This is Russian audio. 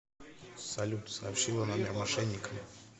салют сообщила номер мошенникам